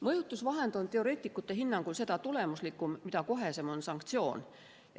Mõjutusvahend on teoreetikute hinnangul seda tulemuslikum, mida kohesem on sanktsioon.